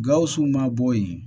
Gawusu ma bɔ yen